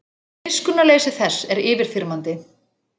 Miskunnarleysi þess er yfirþyrmandi.